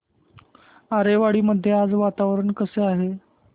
आरेवाडी मध्ये आज वातावरण कसे आहे